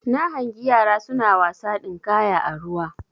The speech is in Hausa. Na hangi yara suna wasa dinkaya a ruwa